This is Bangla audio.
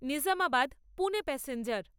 নিজামাবাদ পুনে প্যাসেঞ্জার